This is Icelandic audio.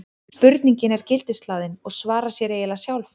spurningin er gildishlaðin og svarar sér eiginlega sjálf